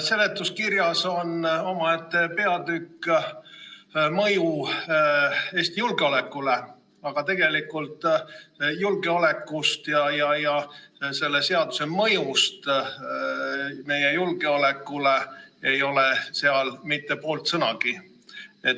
Seletuskirjas on omaette peatükk "Mõju riigi julgeolekule ja välissuhetele", aga tegelikult julgeolekust ja selle seaduse mõjust meie julgeolekule ei ole seal mitte poolt sõnagi.